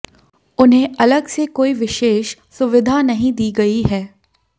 उन्हें अलग से कोई विशेष सुविधा नहीं दी गई है